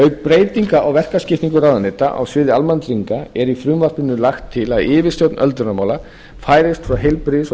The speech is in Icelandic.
breytinga á verkaskiptingu ráðuneyta á sviði almannatrygginga er í frumvarpinu lagt til að yfirstjórn öldrunarmála færist frá heilbrigðis og